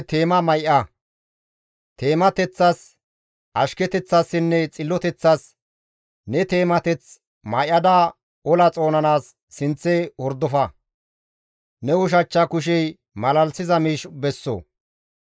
Tumateththas, ashketeththasinne xilloteththas ne teemateth may7ada ola xoonanaas sinththe hordofa; ne ushachcha kushey malalisiza miish besso.